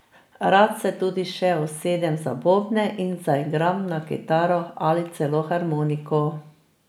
Rad se tudi še usedem za bobne in zaigram na kitaro ali celo harmoniko.